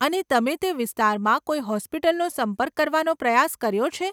અને તમે તે વિસ્તારમાં કોઈ હોસ્પિટલનો સંપર્ક કરવાનો પ્રયાસ કર્યો છે?